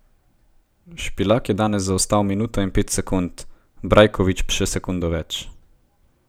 Špilak je danes zaostal minuto in pet sekund, Brajkovič še sekundo več.